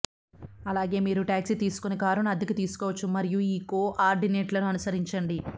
అలాగే మీరు టాక్సీ తీసుకొని కారును అద్దెకు తీసుకోవచ్చు మరియు కోఆర్డినేట్లను అనుసరించండి